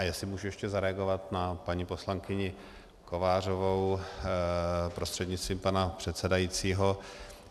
A jestli můžu ještě zareagovat na paní poslankyni Kovářovou prostřednictvím pana předsedajícího.